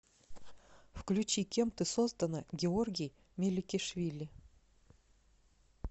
включи кем ты создана георгий меликишвили